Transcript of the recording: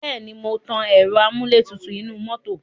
Bẹ́ẹ̀ ni, mò ń tan ẹ̀ro amúlétutù inú mọ́tò.